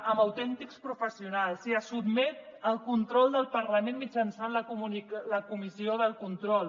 amb autèntics professionals i es sotmet al control del parlament mitjançant la comissió de control